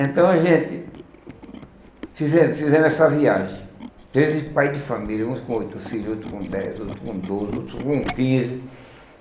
Então a gente, fizem fizemos essa viagem, treze pais de família, uns com oito filhos, outros com dez, outros com doze, outros com quinze.